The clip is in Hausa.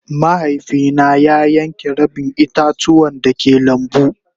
Mahaifi na ya yanke rabin ita-tuwan da ke lambu.